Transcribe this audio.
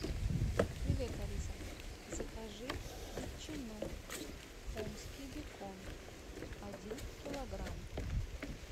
привет алиса закажи ветчину омский бекон один килограмм